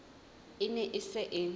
e ne e se e